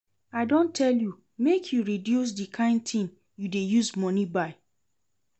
I don tell you make you reduce the kyn thing you dey use money buy